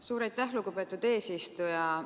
Suur aitäh, lugupeetud eesistuja!